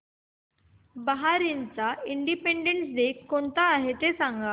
बहारीनचा independence day कोणता ते सांगा